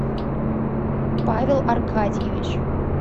павел аркадьевич